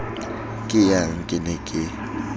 ke yang ke ne ke